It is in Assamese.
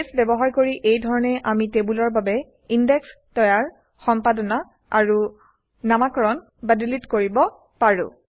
বেছ ব্যৱহাৰ কৰি এই ধৰণে আমি টেবুলৰ বাবে ইনডেক্স তৈয়াৰ সম্পাদনা আৰু নামাকৰণ বা ডিলিট কৰিব পাৰোঁ